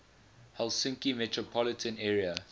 helsinki metropolitan area